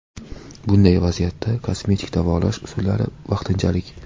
Bunday vaziyatda kosmetik davolash usullari vaqtinchalik.